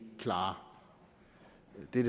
det